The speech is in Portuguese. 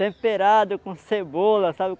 temperado com cebola, sabe?